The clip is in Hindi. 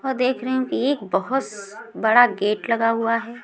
और देख रही हूँ कि एक बहोस बड़ा गेट लगा हुआ है।